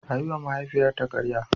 Ta yiwa mahaifiyarta karya.